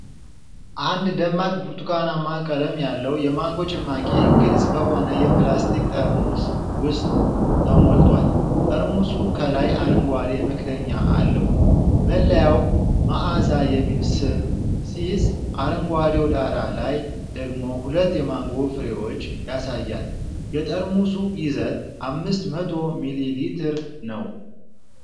አንድ ደማቅ ብርቱካናማ ቀለም ያለው የማንጎ ጭማቂ ግልጽ በሆነ የፕላስቲክ ጠርሙስ ውስጥ ተሞልቷል። ጠርሙሱ ከላይ አረንጓዴ መክደኛ አለው። መለያው "ማአዛ" የሚል ስም ሲይዝ፤ አረንጓዴው ዳራ ላይ ደግሞ ሁለት የማንጎ ፍሬዎችን ያሳያል። የጠርሙሱ ይዘት አምስት መቶ ሚሊ ሊትር ነው።